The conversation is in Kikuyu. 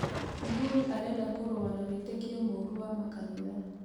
Uhuru arenda kurũa na wĩtĩkĩo mũũrũ wa makanitha